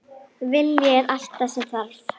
Vilji er allt sem þarf